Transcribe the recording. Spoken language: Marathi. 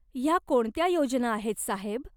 ह्या कोणत्या योजना आहेत, साहेब?